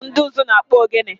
Ọ bụ ndị ụzụ na-akpụ ogene?